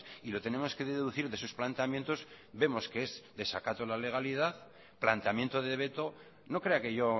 y lo tenemos que deducir de sus planteamientos vemos que es desacato a la legalidad planteamiento de veto no crea que yo